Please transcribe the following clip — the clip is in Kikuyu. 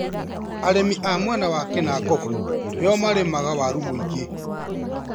Arĩmi a mwena wa kĩnangobu nĩo marĩmaga waru mūingĩ.